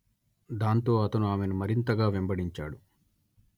దాంతో అతను ఆమెను మరింతగా వెంబడించాడు